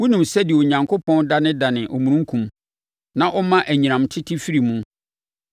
Wonim sɛdeɛ Onyankopɔn danedane omununkum, na ɔma anyinam tete firi mu?